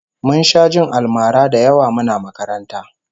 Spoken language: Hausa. Mun sha jin almara da yawa muna makaranta